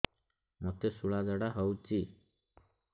ମୋତେ ଶୂଳା ଝାଡ଼ା ହଉଚି